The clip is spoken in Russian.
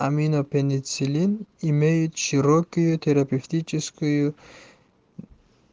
аминопенициллин имеет широкую терапевтическую